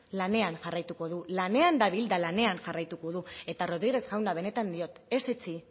lanean jarraituko du lanean dabil eta lanean jarraituko du eta rodriguez jauna benetan diot ez etzi